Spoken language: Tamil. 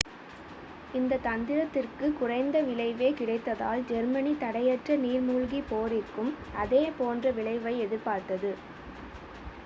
இந்த தந்திரத்திற்கு குறைந்த விளைவே கிடைத்ததால் ஜெர்மனி தடையற்ற நீர்மூழ்கி போரிற்கும் அதே போன்ற விளைவை எதிர்பார்த்தது